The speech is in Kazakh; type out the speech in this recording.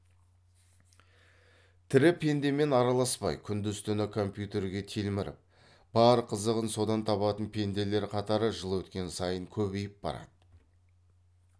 тірі пендемен араласпай күндіз түні компьютерге телміріп бар қызығын содан табатын пенделер қатары жыл өткен сайын көбейіп барады